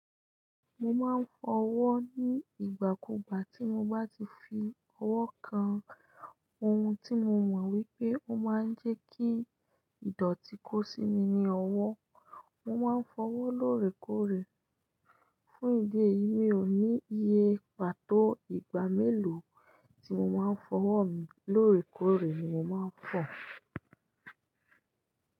Mo máa ń fọ ọwọ́ ní ìgbà kú gbà tí mo bá ti fi ọwọ́ kan ohun tí mo mọ̀ wípé ó máa ń jẹ́ kí ìdọ̀tí kó sí mi ni ọwọ́. Mo máa ń fọ ọwọ́ lóòrèkóòrè. Fún ìdí èyí, mi ò ní iye pàtó ìgbà mélòó tí mo máa ń fọ ọwọ́ mi, lóòrèkóòrè ni mo máa ń fọ.